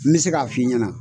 N mi se k'a f'i ɲɛna.